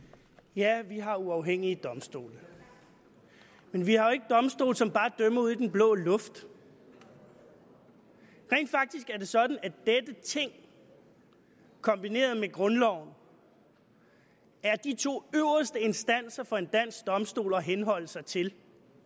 ja vi har uafhængige domstole men vi har jo ikke domstole som bare dømmer ud i den blå luft rent faktisk er det sådan at dette ting kombineret med grundloven er de to øverste instanser for en dansk domstol at henholde sig til